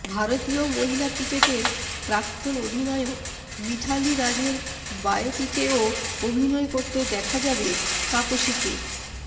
ভারতীয় মহিলা ক্রিকেটের প্রাক্তন অধিনায়ক মিথালি রাজের বায়োপিকেও অভিনয় করতে দেখা যাবে তাপসীকে